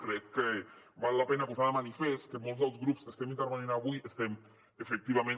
crec que val la pena posar de manifest que molts dels grups que estem intervenint avui estem efectivament